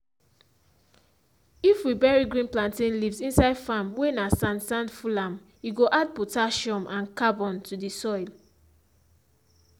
if we bury green plantain leaves inside farm whey na sand sand full am e go add potassium and carbon to the soil.